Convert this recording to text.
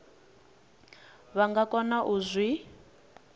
vha nga kona u zwi